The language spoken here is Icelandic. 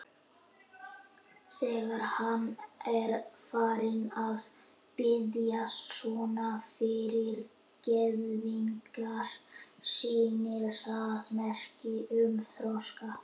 Þegar hann er farinn að biðjast svona fyrirgefningar sýnir það merki um þroska.